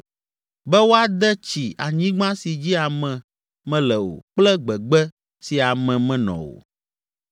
be woade tsi anyigba si dzi ame mele o kple gbegbe si ame menɔ o,